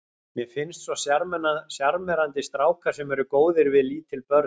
Mér finnst svo sjarmerandi strákar sem eru góðir við lítil börn sagði